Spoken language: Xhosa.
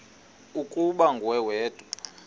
ukuba nguwe wedwa